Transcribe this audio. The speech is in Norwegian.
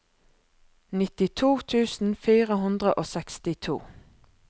nittito tusen fire hundre og sekstito